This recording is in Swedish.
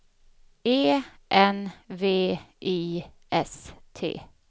E N V I S T